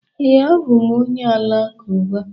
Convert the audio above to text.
ee, abụ m onye Alakụba